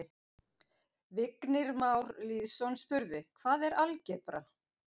Vignir Már Lýðsson spurði: Hvað er algebra?